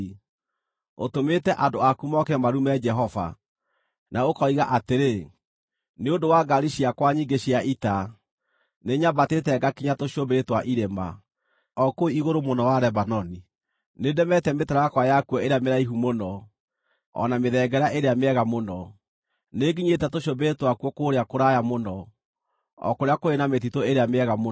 Ũtũmĩte andũ aku moke marume Jehova. Na ũkoiga atĩrĩ, ‘Nĩ ũndũ wa ngaari ciakwa nyingĩ cia ita, nĩnyambatĩte ngakinya tũcũmbĩrĩ twa irĩma, o kũu igũrũ mũno Lebanoni. Nĩndemete mĩtarakwa yakuo ĩrĩa mĩraihu mũno, o na mĩthengera ĩrĩa mĩega mũno. Nĩnginyĩte tũcũmbĩrĩ twakuo kũrĩa kũraya mũno, o kũrĩa kũrĩ na mĩtitũ ĩrĩa mĩega mũno.